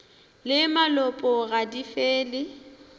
le malopo ga di fele